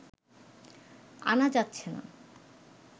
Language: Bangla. আনা যাচ্ছে না